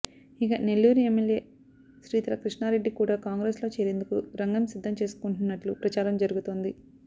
ఇక నెల్లూరు ఎమ్మెల్యే శ్రీధర కృష్ణారెడ్డి కూడా కాంగ్రెస్ లో చేరేందుకు రంగం సిద్ధం చేసుకుంటున్నట్లు ప్రచారం జరుగుతోంది